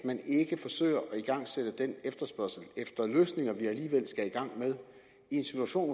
igangsætte den efterspørgsel efter løsninger i en situation